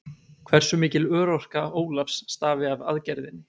Hversu mikil örorka Ólafs stafi af aðgerðinni?